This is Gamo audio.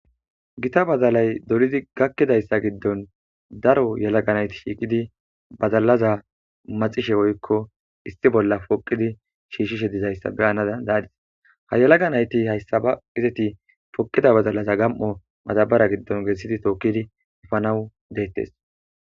Giitta badallay dollidi gakkidayssa giidon daaro yeelagga nayti shiqqidi baadalaza maxxishe woykko issi bolla pooqidi shishishe dizayssa gaana danda'adis ha yelgga nayti hayssa izzeti pooqida baddalaza gam'o maddabara giidon gelissidi tookidi effanawu dettes.